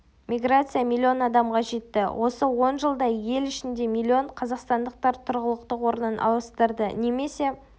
миграция миллион адамға жетті осы он жылда ел ішінде миллион қазақстандықтар тұрғылықты орнын ауыстырды немесе